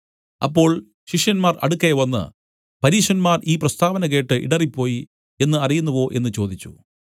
അപ്പോൾ ശിഷ്യന്മാർ അടുക്കെ വന്നു പരീശന്മാർ ഈ പ്രസ്താവന കേട്ട് ഇടറിപ്പോയി എന്നു അറിയുന്നുവോ എന്നു ചോദിച്ചു